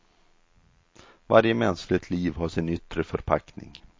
Varje mänskligt liv har sin yttre förpackning.